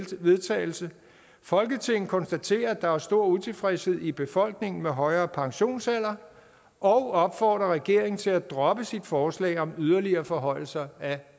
til vedtagelse folketinget konstaterer at der er stor utilfredshed i befolkningen med højere pensionsalder og opfordrer regeringen til at droppe sit forslag om yderligere forhøjelser af